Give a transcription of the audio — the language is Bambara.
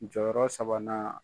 Jɔyɔrɔ sabanan